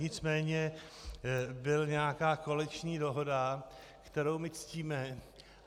Nicméně byla nějaká koaliční dohoda, kterou my ctíme.